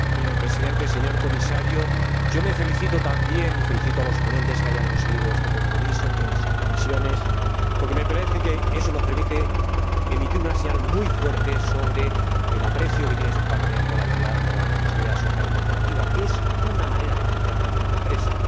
Señor Presidente, señor Comisario, me congratulo también y felicito a los ponentes que han conseguido este compromiso entre nuestras comisiones, porque me parece que eso nos permite emitir una señal muy fuerte sobre el aprecio que tiene este Parlamento por la idea de la responsabilidad social de las empresas, que es una manera de entender también la empresa.